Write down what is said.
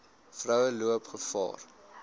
vroue loop gevaar